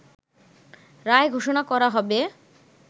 রায় ঘোষণা করা হবে